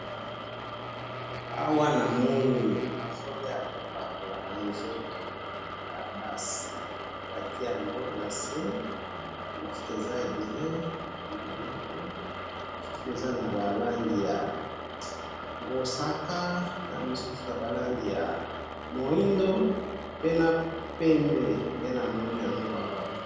Awa na moni ba mafuta ya ko pakola batandi na se, eza na ba langi ya mosaka, moindo na pembe.